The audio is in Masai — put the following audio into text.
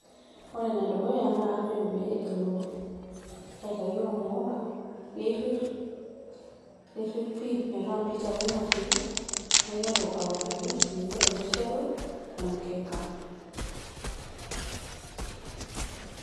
ore ene dukuya naa kajoki pee elo aitayu ormukong ,neirirr neirirr pi metaa mpit ake natii naiteru autaki eniko tenishet emukeka.